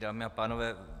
Dámy a pánové.